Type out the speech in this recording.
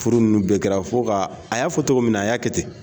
Furu nunnu bɛɛ kɛra fo ka, a y'a fɔ cogo min na a y'a kɛ ten.